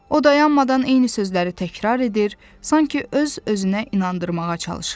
O dayanmadan eyni sözləri təkrar edir, sanki öz-özünə inandırmağa çalışırdı.